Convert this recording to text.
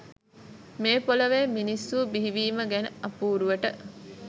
මේ පොළොවේ මිනිස්සු බිහිවීම ගැන අපුරුවට